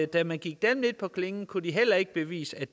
da man gik dem lidt på klingen kunne de heller ikke bevise